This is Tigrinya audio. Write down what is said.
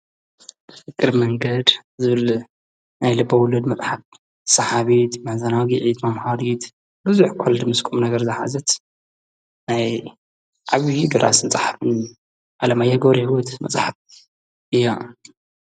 እግር መንገድ ዙል ናይ ልበውለድ መጥሓብ ሰሓብት መዕዘናዊጊዒት ማም ሓሪት ርዙኅ ኰልድ ምስ ኩም ነገር ዝሓዘት ናይ ዓብዪ ዱራስ ንጽሕፍን ኣለማ ኣየጐር ይወት መጽሓፍ እያ።